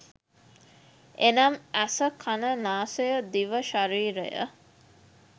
එනම් ඇස, කන, නාසය, දිව, ශරීරය,